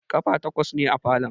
Ƙafa takwas ne falon